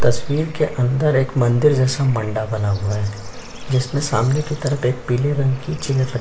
तस्वीर के अंदर एक मंदिर जैसे मंडा बना हुआ है जिस में सामने तरफ पिले रंग की चेयर रखी--